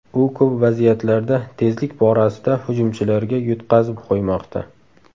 U ko‘p vaziyatlarda tezlik borasida hujumchilarga yutqazib qo‘ymoqda.